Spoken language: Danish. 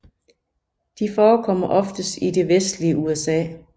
De forekommer oftest i det vestlige USA